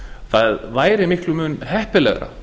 það væri miklum mun heppilegra